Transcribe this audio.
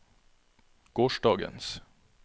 gårsdagens